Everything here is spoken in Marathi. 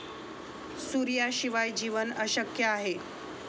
सूर्याशिवाय जीवन अशक्य आहे.